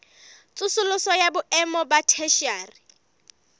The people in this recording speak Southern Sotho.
tsosoloso ya boemo ba theshiari